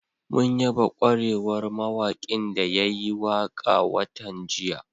Mun yaba ƙwarewar mawaƙin da ya yi waƙa watan jiya